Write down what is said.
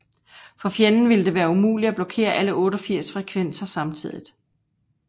For fjenden ville det være umuligt at blokere alle 88 frekvenser samtidigt